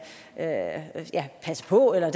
passe på eller